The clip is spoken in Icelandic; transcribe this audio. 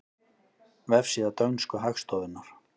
Vefsíða dönsku hagstofunnar